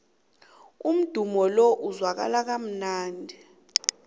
umdumo lo uzwakala kamnandi